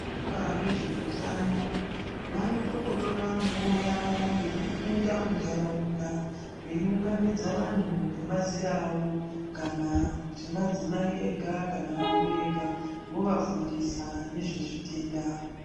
Vezveutano vanototora nguvai yavo yekupinda munharaunda veiunganidza vanhu ngemazera avo kana kuti madzimai ega kana varume vega vovafundisa ngemazera avo vovafundisa ngezvezvitenda